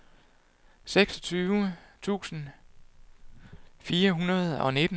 seksogtyve tusind fire hundrede og nitten